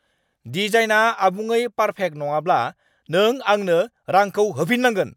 डिजाइनआ आबुङै पार्फेक्ट नङाब्ला, नों आंनो रांखौ होफिन्नांगोन।